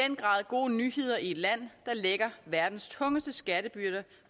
den grad gode nyheder i et land der lægger verdens tungeste skattebyrder